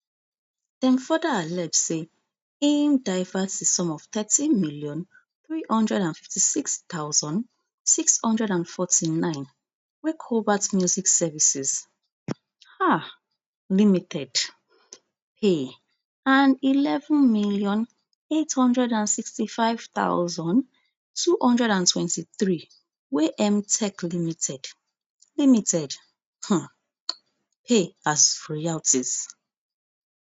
dem further allege say im divert di sum of thirteen million, three hundred and fifty-six thousand, six hundred and forty-nine wey kobalt music services um limited pay and eleven million, eight hundred and sixty-five thousand, two hundred and twenty-three wey mtech limited limited um pay as royalties